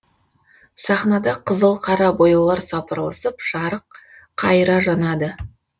сахнада қызыл қара бояулар сапырылысып жарық қайыра жанады